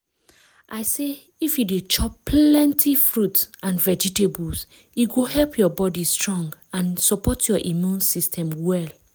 i say if you dey chop plenty fruits and vegetables e go help your body strong and support your immune system well